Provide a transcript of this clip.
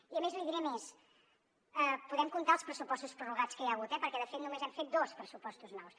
i a més li diré més podem comptar els pressupostos prorrogats que hi ha hagut eh perquè de fet només hem fet dos pressupostos nous